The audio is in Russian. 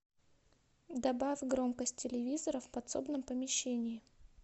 добавь громкость телевизора в подсобном помещении